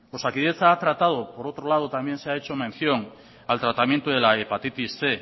osakidetza ha tratado por otro lado también se ha hecho mención al tratamiento de la hepatitis cien